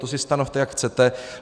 To si stanovte, jak chcete.